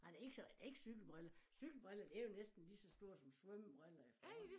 Nej det ikke sådan ikke cykelbriller cykelbriller de jo næsten lige så store som svømmebriller efterhånden